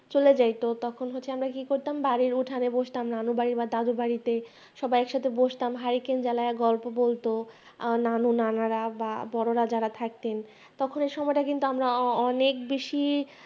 চলে যায় তো তখন তখন আমরা কি করতাম বাড়ির উঠানে বসতাম নানুর বা দাদুর বাড়িতে সবাই একসাথে বসতাম হারিকেন জালাইয়া গল্প বলতো ও নানু নানারা বা বড়রা যারা থাকতেন তখন কিন্তু এই সময়টা ও আমরা অনেক বেশি